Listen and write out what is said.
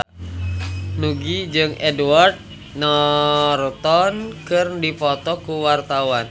Nugie jeung Edward Norton keur dipoto ku wartawan